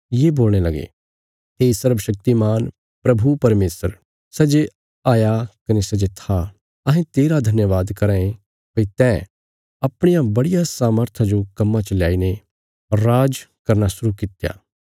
ये बोलणे लगे हे सर्वशक्तिमान प्रभु परमेशर सै जे हया कने सै जे था अहें तेरा धन्यवाद कराँ ये भई तैं अपणिया बड़िया सामर्था जो कम्मां च ल्याईने राज्ज करना शुरु कित्या